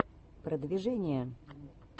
продвижение